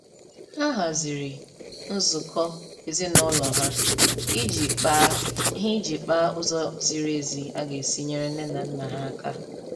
Ha haziri nzukọ ezinaụlọ ha iji kpaa ha iji kpaa ụzọ ziri ezi a ga-esi nyere nne na nna ha aka